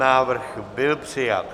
Návrh byl přijat.